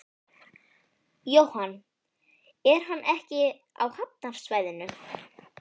Jóhann: Er hann ekki á hafnarsvæðinu?